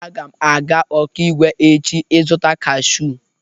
Aga m aga Okigwe echi ịzụta kashụụ.